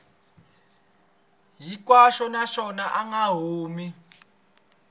hinkwaxo naswona a nga humi